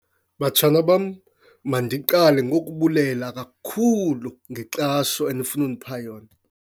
Batshana bam, mandiqale ngokubulela kakhulu ngenkxaso enifuna undipha yona.